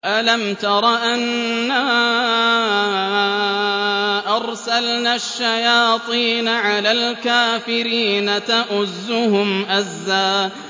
أَلَمْ تَرَ أَنَّا أَرْسَلْنَا الشَّيَاطِينَ عَلَى الْكَافِرِينَ تَؤُزُّهُمْ أَزًّا